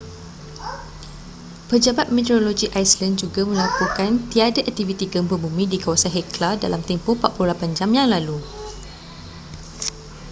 pejabat meteorologi iceland juga melaporkan tiada aktiviti gempa bumi di kawasan hekla dalam tempoh 48 jam yang lalu